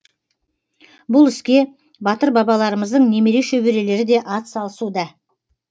бұл іске батыр бабаларымыздың немере шөберелері де атсалысуда